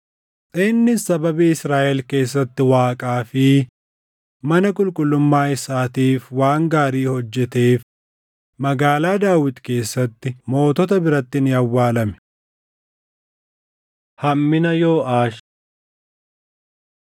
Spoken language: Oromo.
Innis sababii Israaʼel keessatti Waaqaa fi mana qulqullummaa isaatiif waan gaarii hojjeteef Magaalaa Daawit keessatti mootota biratti ni awwaalame. Hammina Yooʼaash